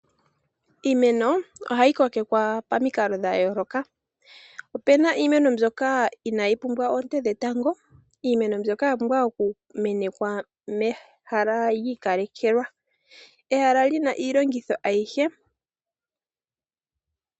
Iimeno ohayi kokekwa momikalo dhayooloka. Opuna iimeno mbyoka inaayi pumbwa oonte dhetango, iimeno mbyoka oya pumbwa okumenekwa mehala lyiikalekelwa ehala li na iilongitho ayihe.